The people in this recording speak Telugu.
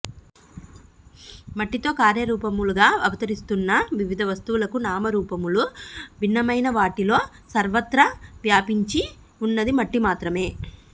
మట్టితో కార్యరూపములుగా అవతరిస్తున్న వివిధ వస్తువులకు నామరూపములు భిన్నమైనా వాటిలో సర్వత్ర వ్యాపించి ఉన్నది మట్టి మాత్రమే